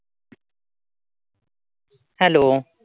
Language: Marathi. Hello